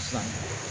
San